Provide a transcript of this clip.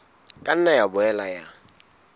ka nna ya boela ya